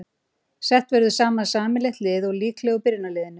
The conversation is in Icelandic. Sett verður saman sameiginlegt lið úr líklegum byrjunarliðum.